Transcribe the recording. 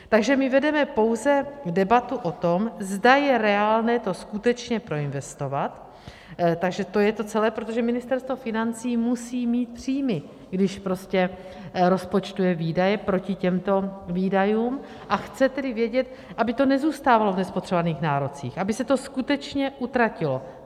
Takže my vedeme pouze debatu o tom, zda je reálné to skutečně proinvestovat, takže to je to celé, protože Ministerstvo financí musí mít příjmy, když prostě rozpočtové výdaje proti těmto výdajům, a chce tedy vědět, aby to nezůstávalo v nespotřebovaných nárocích, aby se to skutečně utratilo.